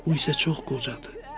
Bu isə çox qocadır.